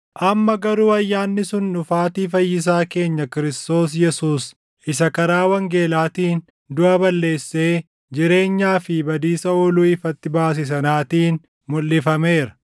amma garuu ayyaanni sun dhufaatii Fayyisaa keenya Kiristoos Yesuus isa karaa wangeelaatiin duʼa balleessee jireenyaa fi badiisa ooluu ifatti baase sanaatiin mulʼifameera.